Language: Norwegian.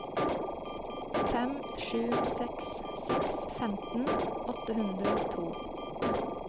fem sju seks seks femten åtte hundre og to